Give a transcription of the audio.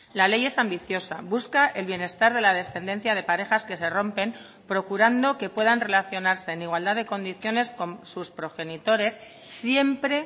la ley es ambiciosa busca el bienestar de la descendencia de parejas que se rompen procurando que puedan relacionarse en igualdad de condiciones con sus progenitores siempre